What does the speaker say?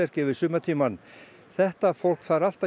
yfir sumartímann þetta fólk þarf allt að